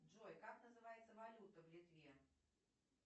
джой как называется валюта в литве